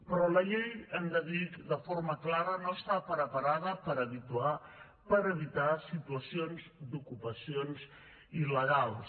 però la llei ho hem de dir de forma clara no està preparada per evitar situacions d’ocupacions il·legals